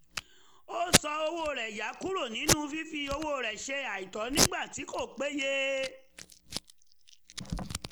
ó ṣọ́ owó rẹ̀ yà kúrò nínú fífi owó ṣe àìtọ́ nígbà tí kò péye